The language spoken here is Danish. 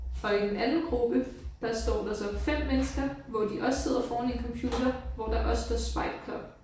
Og i den anden gruppe der står der så 5 mennesker hvor de også sidder foran en computer hvor der også står spite club